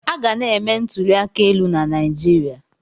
Aga na-eme ntuli aka elu na Naịjirịa.